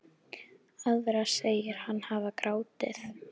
Aðra segir hann hafa grátið.